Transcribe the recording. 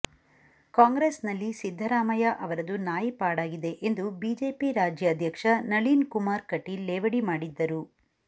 ಕಾಂಗ್ರೆಸ್ನಲ್ಲಿ ಸಿದ್ದರಾಮಯ್ಯ ಅವರದು ನಾಯಿ ಪಾಡಾಗಿದೆ ಎಂದು ಬಿಜೆಪಿ ರಾಜ್ಯಾಧ್ಯಕ್ಷ ನಳೀನ್ ಕುಮಾರ್ ಕಟೀಲ್ ಲೇವಡಿ ಮಾಡಿದ್ದರು